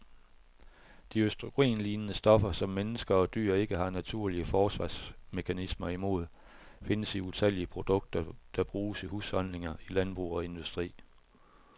De østrogenlignende stoffer, som mennesker og dyr ikke har naturlige forsvarsmekanismer imod, findes i utallige produkter, der bruges i husholdninger, i landbrug og industri.